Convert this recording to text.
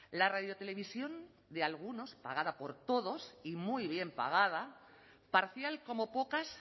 la radiotelevisión de algunos pagada por todos y muy bien pagada parcial como pocas